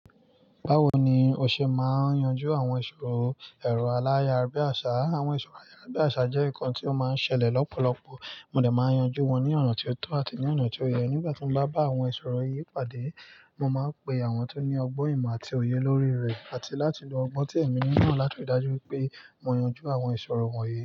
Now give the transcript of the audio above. Báwo ni o ṣe máa yanjú àwọn ìṣòro ẹ̀rọ ayàrábíàṣá? Àwọn ìṣòro ayàrá bí àṣá jẹ́ nǹkan tí ó máa ń ṣẹlẹ̀ lọ́pọ̀lọpọ̀, mo dè máa n yanjú wọn ní ọ̀nà tí ó tọ́ àti ní ọ̀nà tí ó yẹ. Nígbà tí mo bá bá àwọn ìṣòro yìí pàdé, mo máa ń pe àwọn tó ní ọgbọ́n ìmọ̀ àti òye lórí rẹ̀, àti láti lo ọgbọ́n tí ẹ̀mí ní náà láti dájú pé mo yanjú àwọn ìṣòro wọ̀nyí.